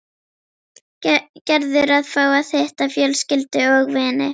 Gerður að fá að hitta fjölskyldu og vini.